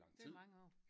Det er mange år